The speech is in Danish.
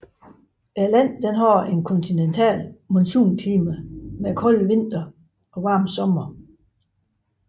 Landet har et kontinentalt monsunklima med kolde vintre og varme somre